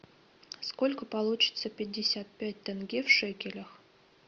сколько получится пятьдесят пять тенге в шекелях